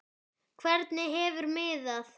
Hvernig hefur miðað?